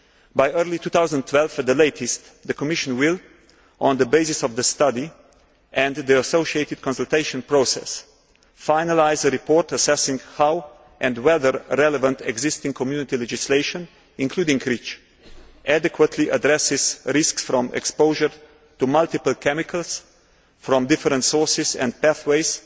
By early 2012 at the latest, the Commission will, on the basis of the study and the associated consultation process, finalise a report assessing how and whether relevant existing Community legislation, including REACH, adequately addresses risks from exposure to multiple chemicals from different sources and pathways